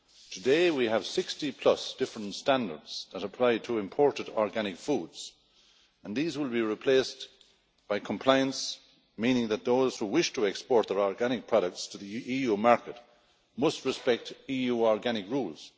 Today we have 60 plus different standards that apply to imported organic foods and these will be replaced by compliance, meaning that those who wish to export their organic products to the EU market must respect EU organic rules.